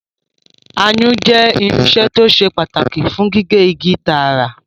Ayùn jẹ́ irinṣẹ́ tó ṣe pàtàkì fún gígé igi tààrà